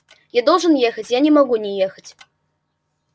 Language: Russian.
я должен ехать я не могу не ехать